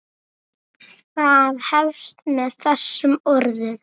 Það hefst með þessum orðum